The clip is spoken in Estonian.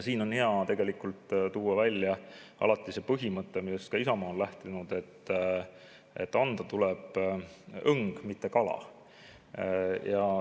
Siin on hea tuua välja see põhimõte, millest ka Isamaa on alati lähtunud, et anda tuleb õng, mitte kala.